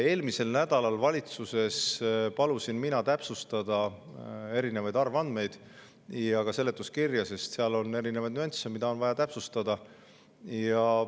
Eelmisel nädalal palusin ma valitsuses täpsustada erinevaid arvandmeid ja ka seletuskirja, sest seal on nüansse, mida on vaja täpsustada.